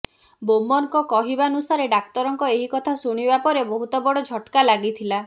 ବୋମରଙ୍କ କହିବାନୁସାରେ ଡାକ୍ତରଙ୍କ ଏହି କଥା ଶୁଣିବା ପରେ ବହୁତ ବଡ଼ ଝଟକା ଲାଗିଥିଲା